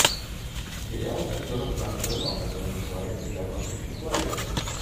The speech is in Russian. сериал с актером жаном рено который называется ярмарка тщеславия